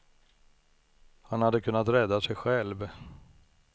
Han hade kunnat rädda sig själv.